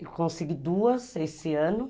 E consegui duas esse ano.